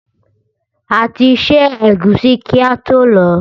A ti ṣẹ́ ẹ̀gúsí kí ató lọ̀ọ́.